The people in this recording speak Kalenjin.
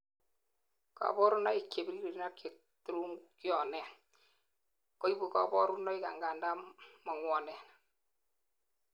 kaborunoik chebiriren ak cheturunkyonen koibu kaborunoik angandan mangwonen